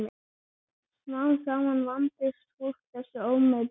Smám saman vandist fólk þessu ómeti.